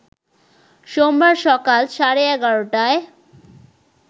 সোমবার সকাল সাড়ে ১১ টায়